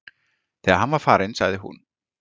Þegar hann var farinn sagði hún